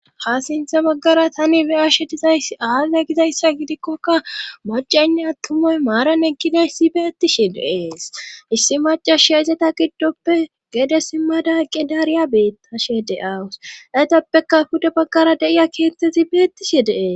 ha sintha baggara tani beyashe dizay aaze gizayssa gidikkoka macaynne attumoy maaran ekkidayssi beettishi deees issi macashia izeta giddoppe gede simmada qedariya beettashe deawus etappeka huda baggara deiya keettezi beettishi deees